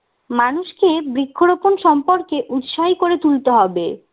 মানুষকে বৃক্ষরোপণ সম্পর্কে উৎসাহী করে তুলতে হবে